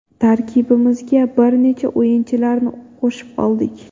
Tarkibimizga bir necha o‘yinchilarni qo‘shib oldik.